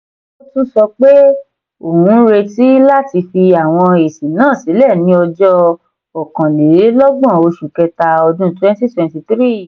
ó tún sọ pé òun ń retí láti fi àwọn èsì náà sílẹ̀ ní ọjọ́ okàn-lé-ló-gbòn oṣù kẹta ọdún twenty twenty three